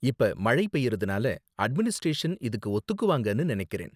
இப்ப மழை பெய்யறதுனால அட்மினிஸ்டரேஷன் இதுக்கு ஒத்துக்குவாங்கன்னு நினைக்கிறேன்.